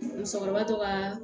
Musokɔrɔba to ka